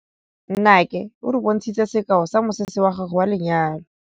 Nnake o re bontshitse sekaô sa mosese wa gagwe wa lenyalo.